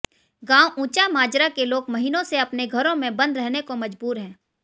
गांव उंचा माजरा के लोग महीनों से अपने घरों में बंद रहने को मजबूर हैं